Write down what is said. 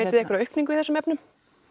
þið einhverja aukningu í þessum efnum